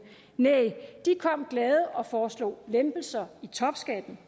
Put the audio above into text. næh de kom glade og foreslog lempelser i topskatten